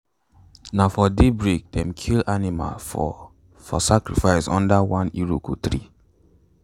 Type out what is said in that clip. na for daybreak them kill animal for for sacrifice under one iroko tree.